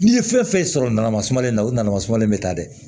N'i ye fɛn fɛn sɔrɔ nana sumanen o na na masumalen bɛ taa dɛ